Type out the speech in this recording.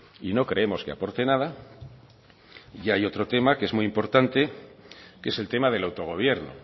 y no creemos que aporte nada y hay otro tema que es muy importante que es el tema del autogobierno